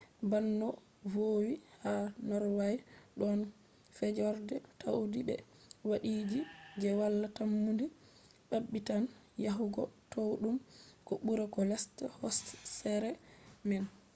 ban no voowi ha norway ɗon fjords towɗi be waadiiji je wala tammunde maɓɓitan yahugo towɗum ko ɓura ko lesta hooseere man